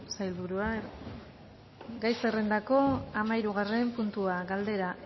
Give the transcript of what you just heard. sailburu jauna gai zerrendako hamahirugarren puntua galdera